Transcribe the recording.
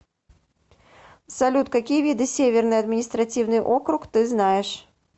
салют какие виды северный административный округ ты знаешь